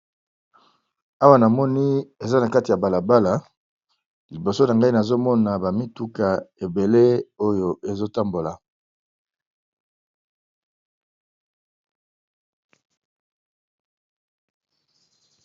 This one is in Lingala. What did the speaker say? Awa na moni eza na kati ya balabala. Liboso na ngai nazomona bamituka ebele oyo ezotambola.